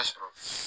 sɔrɔ